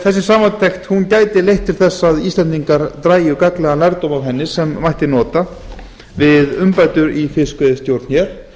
þessi samantekt gæti leitt til þess að íslendingar dragi gagnlegan lærdóm af henni sem mætti nota við umbætur í fiskveiðistjórn hér